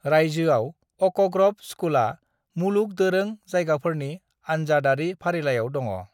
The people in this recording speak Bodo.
रायजोआव अ'क ग्र'व स्कूलआ मुलुग दोरों जायगाफोरनि आनजादारि फारिलाइयाव दङ।